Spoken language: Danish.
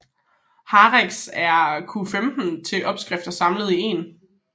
Heraf er Q15 to opskrifter samlet i en